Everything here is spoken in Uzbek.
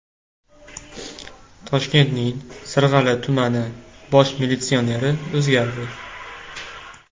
Toshkentning Sirg‘ali tumani bosh militsioneri o‘zgardi.